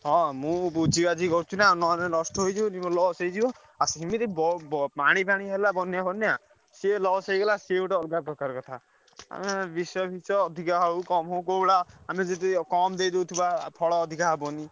ହଁ ମୁଁ ବୁଝିବାଝି କରୁଛି ନାଁ ନହେଲେ ନଷ୍ଟ ହେଇଯିବନି ମୋର loss ହେଇଯିବ ଆଉ ସେମିତି ପାଣିଫାଣି ହେଲା ବନ୍ୟା ଫନ୍ୟା ସିଏ loss ହେଇଗଲା ସିଏ ଗୋଟେ ଅଲଗପ୍ରକାର କଥା। ଆମେ ବିଷ ଫିସ ଅଧିକ ହଉ କମ ହଉ କୋଉଭଳିଆ ଆମେ ଯଦି କମ ଦେଇଦଉଥିବା ଫଲ ଅଧିକ ହବନି।